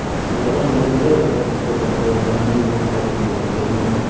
и потом уже появляются обратно все приложения не звони сразу же будет чтобы не